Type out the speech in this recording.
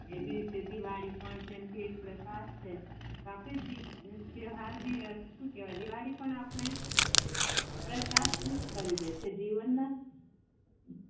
જે વી રીતે દિવાળી પણ એક પ્રકાશ છે તહેવાર બી શું કેહવાય દિવાળી પણ અપડે પ્રકાશિત કરી દે છે જીવન મા